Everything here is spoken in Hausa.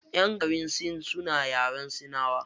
Ƴan garin sin suna yaren sinawa.